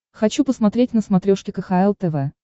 хочу посмотреть на смотрешке кхл тв